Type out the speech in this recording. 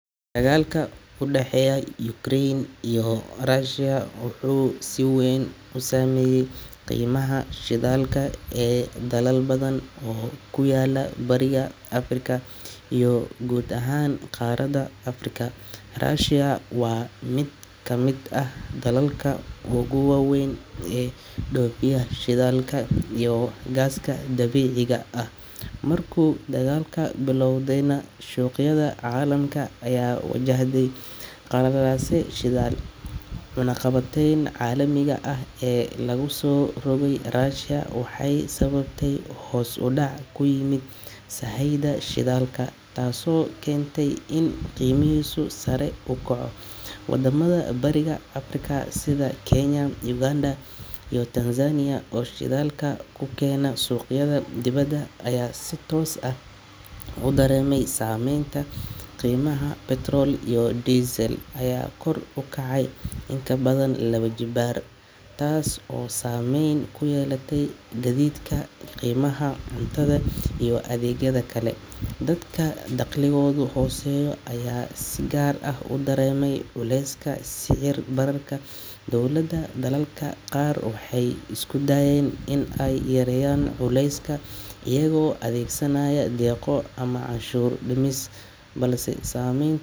Dagaalka u dhexeeya Ukraine iyo Russia wuxuu si weyn u saameeyay qiimaha shidaalka ee dalal badan oo ku yaalla Bariga Afrika iyo guud ahaan qaaradda Afrika. Russia waa mid ka mid ah dalalka ugu waaweyn ee dhoofiya shidaalka iyo gaaska dabiiciga ah, markuu dagaalku bilowdayna, suuqyada caalamka ayaa wajahday qalalaase shidaal. Cunaqabataynta caalamiga ah ee lagu soo rogay Russia waxay sababtay hoos u dhac ku yimid sahayda shidaalka, taasoo keentay in qiimihiisu sare u kaco. Wadamada Bariga Afrika sida Kenya, Uganda iyo Tanzania oo shidaalka ka keena suuqyada dibadda ayaa si toos ah u dareemay saameynta. Qiimaha petrol iyo diesel ayaa kor u kacay in ka badan laba jibbaar, taas oo saamayn ku yeelatay gaadiidka, qiimaha cuntada, iyo adeegyada kale. Dadka dakhligoodu hooseeyo ayaa si gaar ah u dareemay culeyska sicir-bararka. Dowladda dalalka qaar waxay isku dayeen in ay yareeyaan culayska iyagoo adeegsanaya deeqo ama canshuur-dhimis, balse saameyntu weli way muuqataa. Dagaalka Ukraine iyo Russia wuxuu tusaale u yahay sida dhacdooyinka caalamiga ah ay si toos ah u saame,